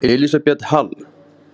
Elísabet Hall: Er þetta neikvæð þróun?